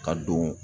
Ka don